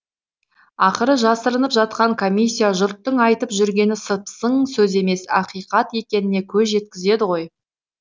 ақыры жасырынып жатқан комиссия жұрттың айтып жүргені сыпсың сөз емес ақиқат екеніне көз жеткізеді ғой